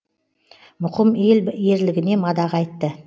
мұқым ел ерлігіне мадақ айтты